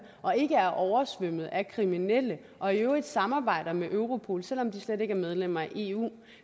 og ikke er oversvømmet af kriminelle og i øvrigt samarbejder med europol selv om de slet ikke er medlemmer af eu